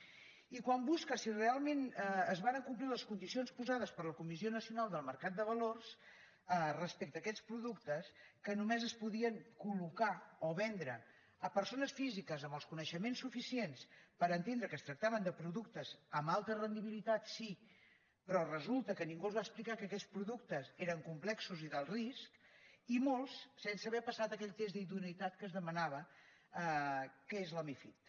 i quan busques si realment es varen complir les condicions posades per la comissió nacional del mercat de valors respecte a aquests productes que només es podien col·locar o vendre a persones físiques amb els coneixements suficients per entendre que es tractava de productes amb alta rendibilitat sí però resulta que ningú els va explicar que aquests productes eren complexos i d’alt risc i molts sense haver passat aquell test d’idoneïtat que es demanava que és la mifid